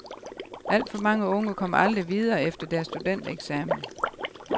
Alt for mange unge kommer aldrig videre efter deres studentereksamen.